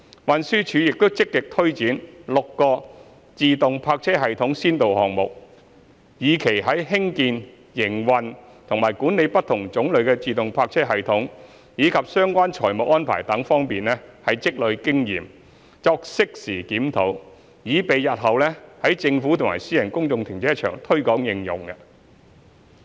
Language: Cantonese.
運輸署亦正積極推展6個自動泊車系統先導項目，以期在興建、營運和管理不同種類的自動泊車系統，以及相關財務安排等方面積累經驗作適時檢討，以備日後可在政府和私人公眾停車場推廣應用。